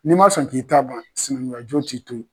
N'i ma sɔn k'i ta ban sinankuya jɔn t'i to ye.